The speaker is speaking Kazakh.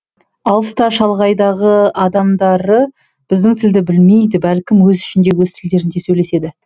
алыс та шалғайдағы адамдары біздің тілді білмейді бәлкім өз ішінде өз тілдерінде сөйлеседі